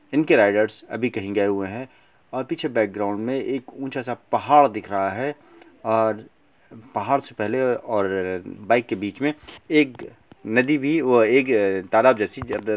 इनके राइडर्स अभी कहीं गए हुए हैं और पीछे बैकग्राउंड में एक ऊँचा सा पहाड़ दिख रहा है और पहाड़ से पहले और बाइक के बीच में एक नदी भी एक तालाब जैसी --